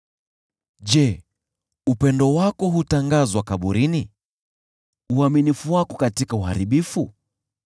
Je, upendo wako hutangazwa kaburini, uaminifu wako katika Uharibifu?